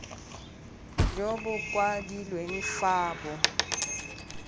jo bo kwadilweng fa bo